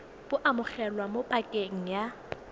bo amogelwa mo pakeng ya